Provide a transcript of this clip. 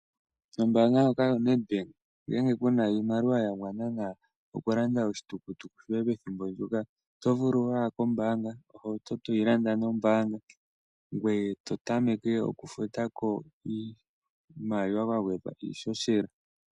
Ombanga ndjoka yoNedbank ngele kuna iimaliwa yagwana nawa oku landa oshitukutuku shoye pethimbo ndyoka oto vulu waya kombanga, ohauto toyi landa nombaanga ngweye to tameke oku futako iimaliwa kwagwedhwa ishoshela .